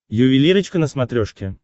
ювелирочка на смотрешке